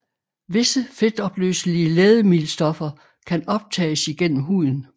Visse fedtopløselige lægemiddelstoffer kan optages igennem huden